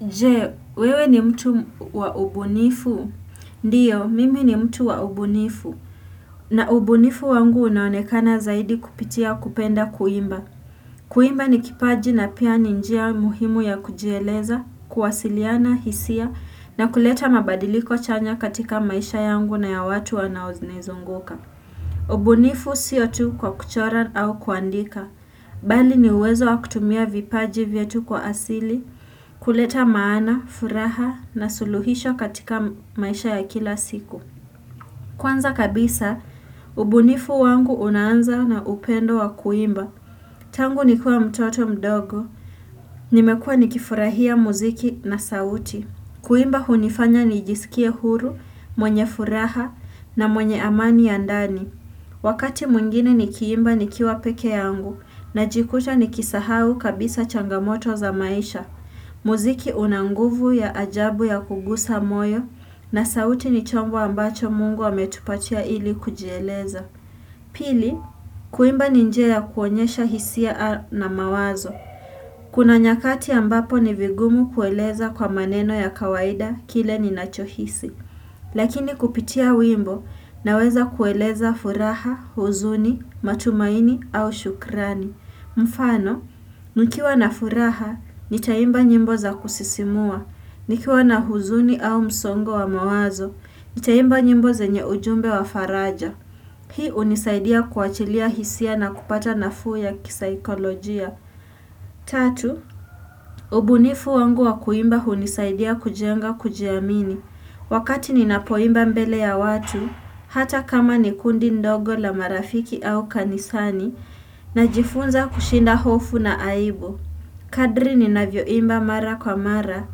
Je, wewe ni mtu wa ubunifu? Ndio, mimi ni mtu wa ubunifu. Na ubunifu wangu unaonekana zaidi kupitia kupenda kuimba. Kuimba ni kipaji na pia ni njia muhimu ya kujieleza, kuwasiliana, hisia, na kuleta mabadiliko chanya katika maisha yangu na ya watu wanaonizunguka. Ubunifu sio tu kwa kuchora au kuandika. Bali ni uwezo wa kutumia vipaji vyetu kwa asili, kuleta maana, furaha na suluhisho katika maisha ya kila siku Kwanza kabisa, ubunifu wangu unaanza na upendo wa kuimba Tangu ni kiwa mtoto mdogo Nimekuwa ni kifurahia muziki na sauti Kuimba hunifanya ni jisikie huru, mwenye furaha na mwenye amani ya ndani Wakati mwingine ni kiimba ni kiwa peke yangu najikuta ni kisahau kabisa changamoto za maisha muziki unanguvu ya ajabu ya kugusa moyo na sauti ni chombo ambacho Mungu ame tupatia ili kujieleza. Pili, kuimba ni njia ya kuonyesha hisia na mawazo. Kuna nyakati ambapo ni vigumu kueleza kwa maneno ya kawaida kile ni nachohisi. Lakini kupitia wimbo na weza kueleza furaha, huzuni, matumaini au shukrani. Mfano, nikiwa na furaha, nitaimba nyimbo za kusisimua nikiwa na huzuni au msongo wa mawazo, nitaimba nyimbo zenye ujumbe wa faraja Hii unisaidia kuachilia hisia na kupata nafuu ya kisaikolojia Tatu, ubunifu wangu wa kuimba hunisaidia kujenga kujiamini Wakati ninapoimba mbele ya watu, hata kama ni kundi ndogo la marafiki au kanisani Najifunza kushinda hofu na aibu. Kadri ninavyoimba mara kwa mara.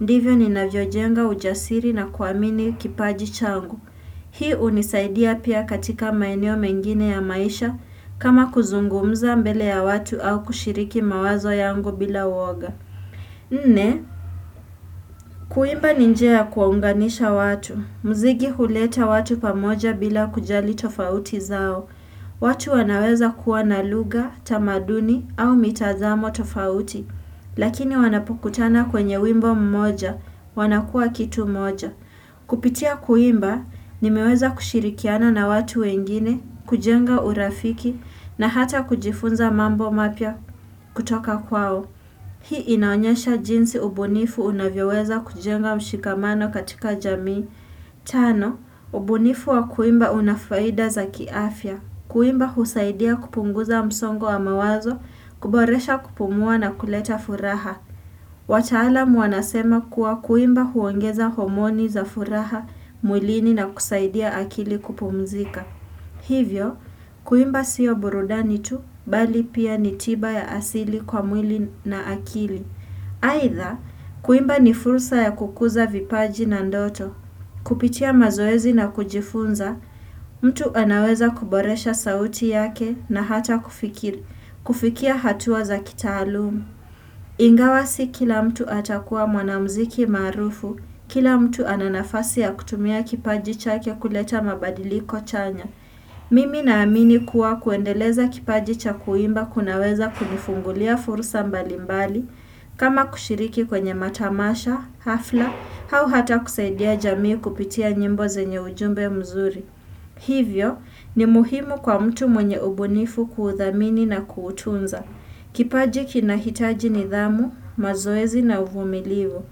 Ndivyo ninavyojenga ujasiri na kuamini kipaji changu. Hii unisaidia pia katika maeneo mengine ya maisha kama kuzungumza mbele ya watu au kushiriki mawazo yangu bila uoga. Nne, kuimba ni njia ya kuwaunganisha watu. Mzigi huleta watu pamoja bila kujali tofauti zao. Watu wanaweza kuwa na luga, tamaduni au mitazamo tofauti. Lakini wanapokutana kwenye wimbo mmoja, wanakuwa kitu moja. Kupitia kuimba, nimeweza kushirikiana na watu wengine, kujenga urafiki na hata kujifunza mambo mapya kutoka kwao. Hii inaonyesha jinsi ubunifu unavyoweza kujenga mshikamano katika jamii. Tano, ubunifu wa kuimba unafaida za kiafya. Kuimba husaidia kupunguza msongo wa mawazo, kuboresha kupumua na kuleta furaha. Wataalamu wanasema kuwa kuimba huongeza homoni za furaha, mwilini na kusaidia akili kupumzika. Hivyo, kuimba siyo burudani tu bali pia ni tiba ya asili kwa mwili na akili. Aidha, kuimba ni fursa ya kukuza vipaji na ndoto. Kupitia mazoezi na kujifunza, mtu anaweza kuboresha sauti yake na hata kufikir, kufikia hatua za kitaalumu. Ingawa si kila mtu atakuwa mwanamziki maarufu, kila mtu ana nafasi ya kutumia kipaji chake kuleta mabadiliko chanya. Mimi na amini kuwa kuendeleza kipaji cha kuimba kunaweza kunifungulia fursa mbalimbali, kama kushiriki kwenye matamasha, hafla, hau hata kusaidia jamii kupitia nyimbo zenye ujumbe mzuri. Hivyo, ni muhimu kwa mtu mwenye ubunifu kuuthamini na kuutunza. Kipaji kinahitaji nidhamu, mazoezi na uvumilivu.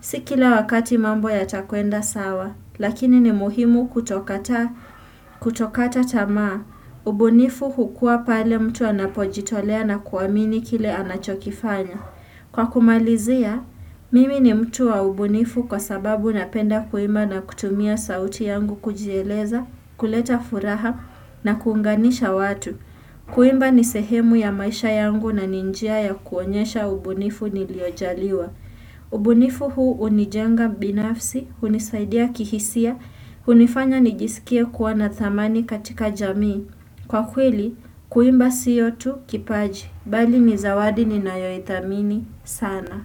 Si kila wakati mambo yatakwenda sawa, lakini ni muhimu kutokata tamaa. Ubunifu hukua pale mtu anapojitolea na kuamini kile anachokifanya. Kwa kumalizia, mimi ni mtu wa ubunifu kwa sababu napenda kuima na kutumia sauti yangu kujieleza, kuleta furaha na kuunganisha watu. Kuimba nisehemu ya maisha yangu na ni njia ya kuonyesha ubunifu niliojaliwa. Ubunifu huu unijenga binafsi, hunisaidia kihisia, hunifanya nijisikie kuwa na thamani katika jamii. Kwa kweli, kuimba sio tu kipaji, bali ni zawadi ninayoithamini sana.